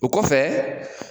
O kɔfɛ